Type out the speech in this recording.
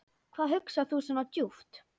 Hvað hugsar þú svona djúpt?